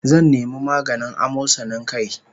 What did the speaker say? Zan nemi maganin amosanin kai